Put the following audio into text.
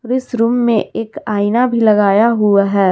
इस रूम में एक आईना भी लगाया हुआ है।